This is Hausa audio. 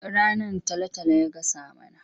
Rannan talo-talo ya gasa mana.